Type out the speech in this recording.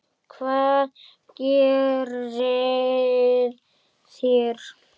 Hvað gerið þér?